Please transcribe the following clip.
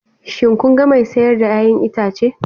Shin kun ga mai siyar da 'ya'yan itace?